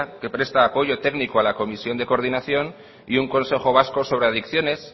que presta apoyo técnico a la comisión de coordinación y un consejo vasco sobre adicciones